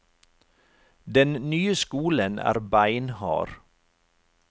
Den nye skolen er beinhard.